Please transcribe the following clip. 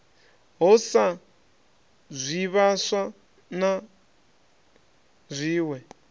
ho sa zwivhaswa na zwiwe